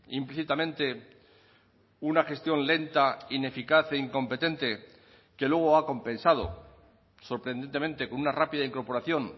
implícitamente una gestión lenta ineficaz e incompetente que luego ha compensado sorprendentemente con una rápida incorporación